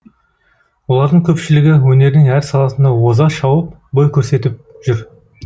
олардың көпшілігі өнердің әр саласында озашауып бой көрсетіп жүр